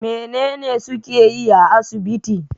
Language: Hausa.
Menene suke yi a asibiti?